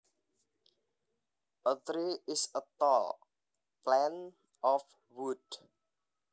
A tree is a tall plant of wood